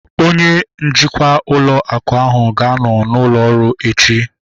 Onye njikwa ụlọ akụ ahu ga-anọ n'ụlọ ọrụ echi